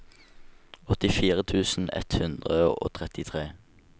åttifire tusen ett hundre og trettitre